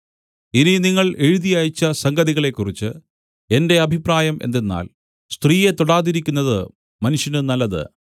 ഇനി നിങ്ങൾ എഴുതി അയച്ച സംഗതികളെക്കുറിച്ച് എന്റെ അഭിപ്രായം എന്തെന്നാൽ സ്ത്രീയെ തൊടാതിരിക്കുന്നത് മനുഷ്യന് നല്ലത്